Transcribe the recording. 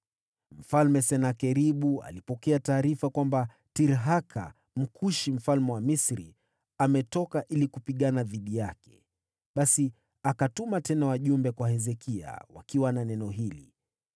Basi Senakeribu akapata taarifa kwamba Tirhaka, Mkushi mfalme wa Misri, alikuwa anaenda kupigana naye. Basi akatuma tena wajumbe kwa Hezekia na neno hili: